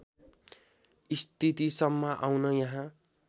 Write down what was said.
स्थितिसम्म आउन यहाँ